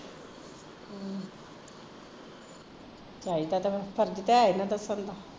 ਚਾਹੀਦਾ ਤਾਂ ਫਿਰ ਫਰਜ਼ ਤਾਂ ਹੈ ਨਾ ਦੱਸਣ ਦਾ